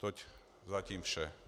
Toť zatím vše.